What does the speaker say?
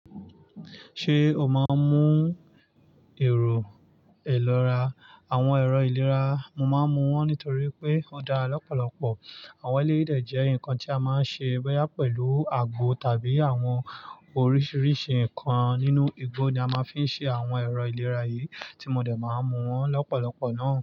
Ṣé o máa ń mú èrò ìlora? Àwọn ẹ̀rọ ìlera, mo máa ń mu wọ́n nítorí pé ó dára lọ́pọ̀lọpọ̀. Àwọn eléyìí dẹ jẹ́ nǹkan tí a máa ń ṣe bòyà pẹ̀lú àgbo tàbí àwọn oríṣiríṣi nǹkan nínú igbó ni a máa ń fi ṣe àwọn ẹ̀rọ ìlera yìí tí mo dẹ̀ máa ń mu wọn lọ́pọ̀lọpọ̀ náà.